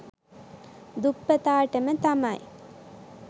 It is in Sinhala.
දුප්පතාටම තමයි.